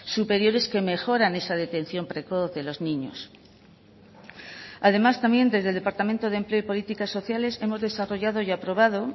superiores que mejoran esa detención precoz de los niños además también desde el departamento de empleo y políticas sociales hemos desarrollado y aprobado